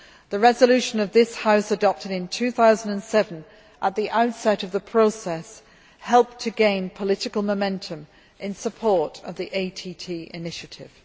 The resolution of this House adopted in 2007, at the outset of the process, helped to gain political momentum in support of the ATT initiative.